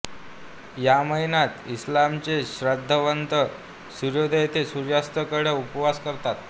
या महिन्यात इस्लामचे श्रद्धावंत सूर्योदय ते सूर्यास्त कडक उपवास करतात